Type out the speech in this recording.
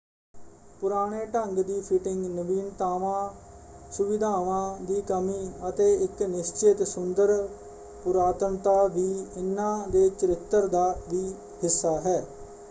ਪੁਰਾਣੇ ਢੰਗ ਦੀ ਫਿਟਿੰਗ ਨਵੀਨਤਾਵਾਂ ਸੁਵਿਧਾਵਾਂ ਦੀ ਕਮੀ ਅਤੇ ਇਕ ਨਿਸ਼ਚਿਤ ਸੁੰਦਰ ਪੁਰਾਤਨਤਾ ਵੀ ਇਨ੍ਹਾਂ ਦੇ ਚਰਿੱਤਰ ਦਾ ਵੀ ਹਿੱਸਾ ਹੈ।